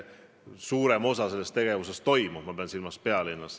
Suurem osa tegevusest ju Tallinnas toimub.